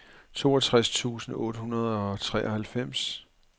toogtres tusind otte hundrede og treoghalvfems